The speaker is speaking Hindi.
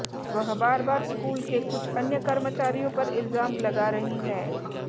वह बार बार स्कूल के कुछ अन्य कर्मचारियों पर इल्जाम लगा रही हैं